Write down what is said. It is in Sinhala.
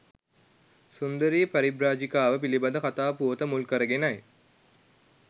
සුන්දරී පරිබ්‍රාජිකාව පිළිබඳ කථා පුවත මුල් කරගෙනයි.